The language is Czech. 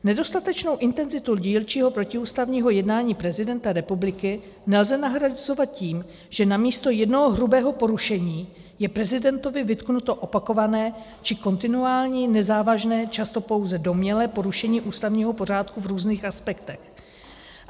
Nedostatečnou intenzitu dílčího protiústavního jednání prezidenta republiky nelze nahrazovat tím, že namísto jednoho hrubého porušení je prezidentovi vytknuto opakované či kontinuální, nezávažné, často pouze domnělé porušení ústavního pořádku v různých aspektech.